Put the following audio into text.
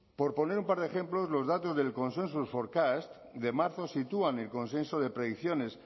por poner un par de ejemplos los datos del consensus forecasts de marzo sitúa el consenso de predicciones